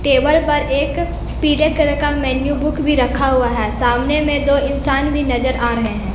Table पर एक पीले कलर का मेनू बुक भी रखा हुआ है सामने में दो इंसान भी नजर आ रहे हैं।